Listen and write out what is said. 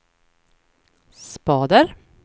spader